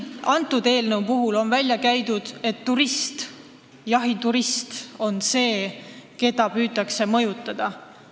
Eelnõus on välja käidud, et jahiturist on see, keda püütakse mõjutada.